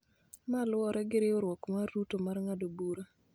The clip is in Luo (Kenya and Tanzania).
ma luwore gi riwruok mar Ruto mar ng�ado bura.